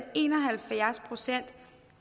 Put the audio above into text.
en og halvfjerds procent